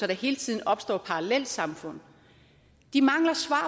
der hele tiden opstår parallelsamfund de mangler svar